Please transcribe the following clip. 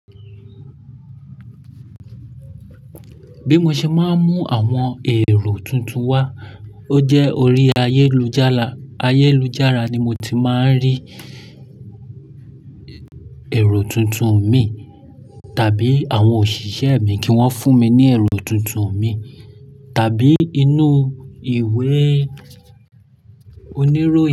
Bí mo ṣe máa ń mú àwọn èrò tuntun wá, ó jẹ́ orí ayélujára. Ayélujára ni mo ti máa ń rí èrò tuntun mi, tàbí àwọn òṣìṣẹ́ mi kí wọ́n fún mi ní èrò tuntun mi, tàbí inú ìwé oníròyìn.